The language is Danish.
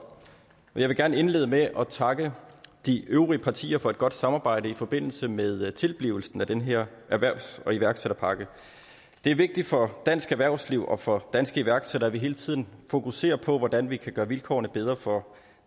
jeg vil gerne indlede med at takke de øvrige partier for et godt samarbejde i forbindelse med tilblivelsen af den her erhvervs og iværksætterpakke det er vigtigt for dansk erhvervsliv og for danske iværksættere at vi hele tiden fokuserer på hvordan vi kan gøre vilkårene bedre for